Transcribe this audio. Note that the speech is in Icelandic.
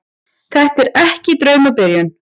Þetta er ekki draumabyrjun.